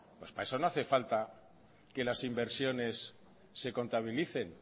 pues para eso no hace falta que las inversiones se contabilicen